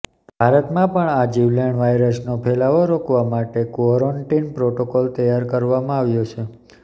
ભારતમાં પણ આ જીવલેણ વાયરસનો ફેલાવો રોકવા માટે ક્વોરન્ટીન પ્રોટોકોલ તૈયાર કરવામાં આવ્યો છે